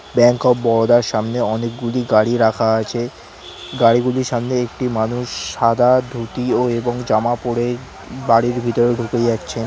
Bank of Baroda -আর সামনে অনেকগুলি গাড়ি রাখা আছে গাড়িগুলির সামনে একটি মানুষ সাদা ধুতি ও এবং জামা পড়ে বাড়ির ভিতর ঢুকে যাচ্ছেন ।